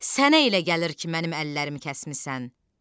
Sənə elə gəlir ki, mənim əllərimi kəsmisən.